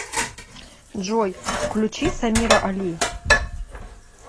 джой включи самира али